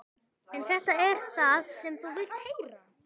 En þetta er ekki það sem þú vilt heyra.